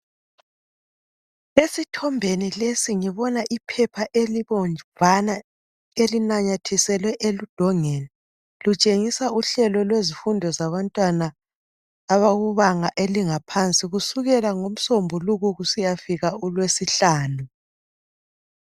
Esithombeni lesi ngibona iphepha elibomvana elinanyathiselwe edongeni lutshengisa uhlelo lwezifundo zabantwana abakubanga eliphansi kusukela ngomsombuluko kusiyafika ulwesihlanu.